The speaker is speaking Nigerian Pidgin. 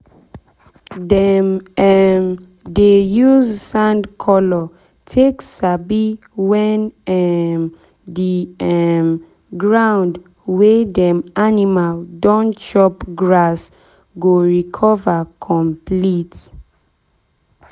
dem um dey use sand color take sabi when um the um ground wey dem animal don chop grass go recover complete.